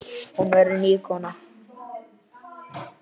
Hún verður ný kona.